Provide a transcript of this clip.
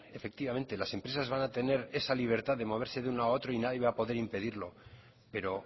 efectivamente las empresas van a tener esa libertad de moverse de un lado a otro y nadie va a poder impedirlo pero